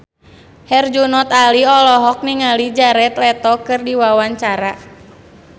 Herjunot Ali olohok ningali Jared Leto keur diwawancara